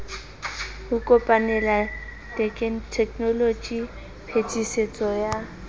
ho kopanela tekenoloji phetisetso ya